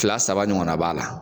Kila saba ɲɔgɔnna b'a la.